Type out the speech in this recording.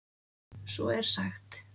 Svo er sagt.